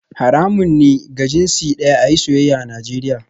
Haramun ne ga jinsi daya a yi soyayya a Najeriya